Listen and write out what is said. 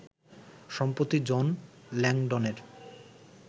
সম্প্রতি জন ল্যাংডনের